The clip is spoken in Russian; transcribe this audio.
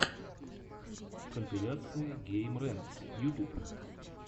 компиляция геймрэнкс ютуб